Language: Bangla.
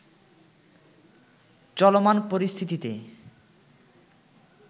চলমান পরিস্থিতিতে